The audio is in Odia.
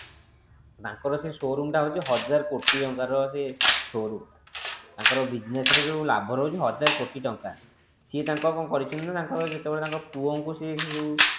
ତାଙ୍କର ସେ showroom ଟା ହୋଉଛି ହଜାର କୋଟି ଟଙ୍କା ର ସେ showroom ତାଙ୍କର business ଯୋଉ ଲାଭ ରହୁଛି ହଜାରେ କୋଟି ଟଙ୍କା ସିଏ ତାଙ୍କର କଣ କରିଛନ୍ତି ନା ଯେତେବେଳେ ତାଙ୍କ ପୁଅଙ୍କୁ ସେ ସେ ଯୋଉ